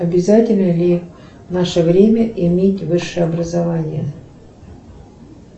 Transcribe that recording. обязательно ли в наше время иметь высшее образование